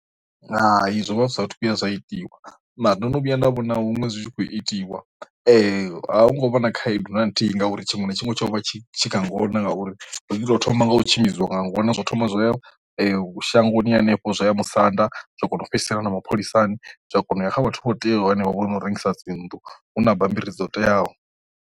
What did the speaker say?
Hai zwovha zwathu vhuya zwa itiwa na ndo no vhuya nda vhona huṅwe zwi tshi khou itiwa a hu ngo vha na khaedu na nthihi ngauri tshiṅwe na tshiṅwe tsho vha tshi tshi kha ngona ngauri ndi ḓo nga u tshimbidziwa nga ṅwana zwo thoma zwa ya shangoni henefho, zwo ya musanda zwa kona u fhedzisela no mapholisani zwa kona uya kha vhathu vho teaho henefho vho no rengisa dzinnḓu hu na bammbiri dzo teaho.